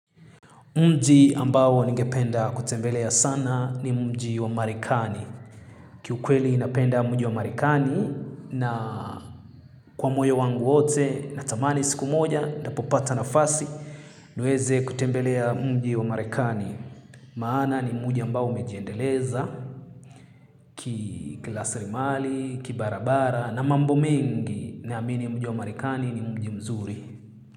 Mji ambao ningependa kutembelea sana ni mji wa marekani. Kiukweli napenda mji wa marekani na kwa moyo wangu wote na tamani siku moja nitapopata nafasi niweze kutembelea mji wa marekani. Maana ni mji ambao umejiendeleza kikilasrimali, kibarabara na mambo mengi naamini mji wa marekani ni mji mzuri.